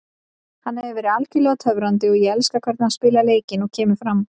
Hann hefur verið algjörlega töfrandi og ég elska hvernig hann spilar leikinn og kemur fram.